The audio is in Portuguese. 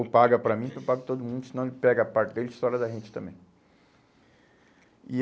Ou paga para mim, ou paga para todo mundo, senão ele pega a parte dele e estoura da gente também. E